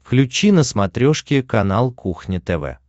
включи на смотрешке канал кухня тв